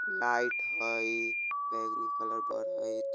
लाइट हई बैगनी कलर बरइत ।